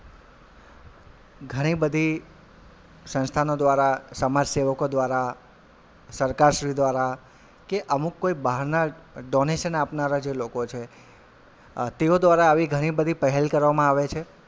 ઘણી બધી સંસ્થાનો દ્વારા, સમાજસેવકો દ્વારા, સરકાર શ્રી દ્વારા કે અમુક કોઈ બહારના donation આપનારા જે લોકો છે અ તેઓ દ્વારા આવી ઘણી બધી પહેલ કરવામાં આવે છે.